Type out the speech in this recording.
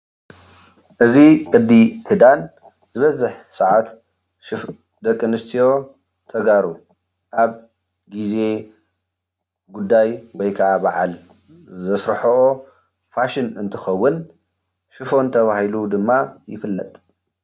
እዚ ቅዲ ክዳን ዝበዝሕ ሰዓት ሱፍ ደቂ ኣነስትዮ ተጋሩ ኣብ ግዜ ጉዳይ ወይ ከዓ በዓል ዘስርሐኦ ፋሽን እንትከውን ሹፈን ተባሂሉ ድማ ይፍለጥ፡፡